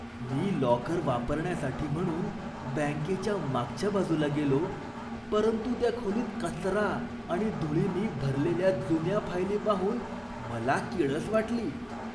मी locker वापरण्यासाठी म्हणून बँकेच्या मागच्या बाजूला गेलो, परंतु त्या खोलीत कचरा आणि धुळीनी भरलेल्या जुन्या फायली पाहून मला किळस वाटली.